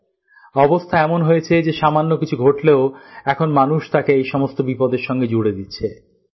এখন এমন অবস্থা হয়েছে যে সামান্য কিছু ঘটলেও এখন মানুষ তাকে এই সমস্ত বিপদের সাথে জুড়ে দিচ্ছে